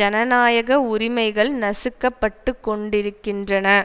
ஜனநாயக உரிமைகள் நசுக்கப்பட்டுக்கொண்டிருக்கின்றன